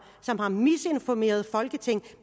som har misinformeret folketinget